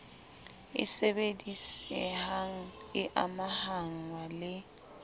e sebedisehang e amahngwa le